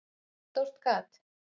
Ég fann stórt gat.